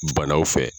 Banaw fɛ